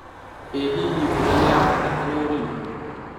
ĩ hihi mbura nĩ ya bata harĩ ũrĩmi.